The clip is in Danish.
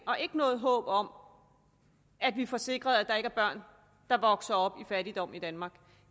og ikke noget håb om at vi får sikret at der ikke er børn der vokser op i fattigdom i danmark